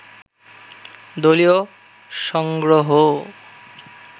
দলীয় সংগ্রহও